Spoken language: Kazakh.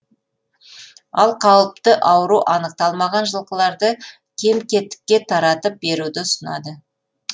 ал қауіпті ауру анықталмаған жылқыларды кем кетікке таратып беруді ұсынады